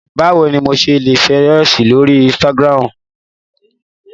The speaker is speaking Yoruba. Bawo ni mo ṣe le ṣe ifiweranṣẹ lori ínsìtágirámu?